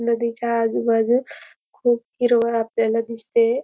नदीच्या आजूबाजू खूप हिरवळ आपल्याला दिसते.